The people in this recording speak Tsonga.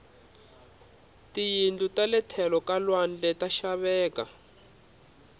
tiyindlu tale tlhelo ka lwandle ta xaveka